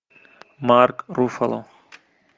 марк руффало